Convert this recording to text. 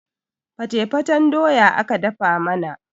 fatefaten doya aka dafa mana